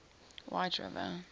whiteriver